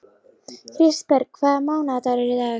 Kristberg, hvaða mánaðardagur er í dag?